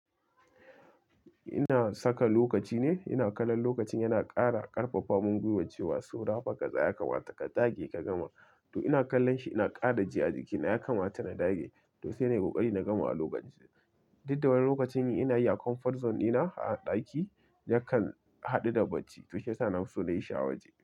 Ina saka lokaci ne, ina kallon lokacin yana ƙara ƙarfafa mun gwiwa ce wa, so rafa kaza ya kamata ka dage ka gama. To ina kallon shi ina kara ji a jikina ya kamata na dage. To sai nayi kokari na gama a lokaci. Dukda wani lokacin ina yi a comfort zone ɗina a ɗaki yakan haɗu da bacci. To shi ya sa nafi so na yi shi awaje.